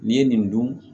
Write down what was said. N'i ye nin dun